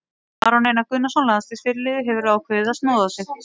Aron Einar Gunnarsson, landsliðsfyrirliði, hefur ákveðið að snoða sig.